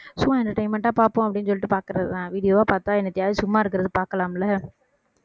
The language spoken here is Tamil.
சும்மா entertainment ஆ பார்ப்போம் அப்படின்னு சொல்லிட்டு பார்க்கிறதுதான் video வா பார்த்தா என்னத்தையாவது சும்மா இருக்கிறது பார்க்கலாம்ல